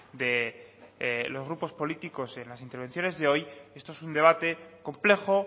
de los grupos políticos en las intervenciones de hoy esto es un debate complejo